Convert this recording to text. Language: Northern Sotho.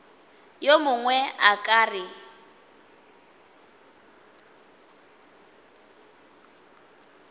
yo mongwe a ka re